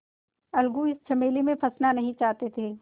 अलगू इस झमेले में फँसना नहीं चाहते थे